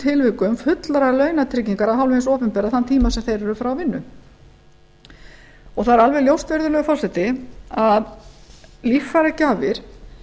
tilvikum fullrar launatryggingar af hálfu hins opinbera sem þeir eru frá vinnu það er alveg ljóst virðulegi forseti að líffæragjafir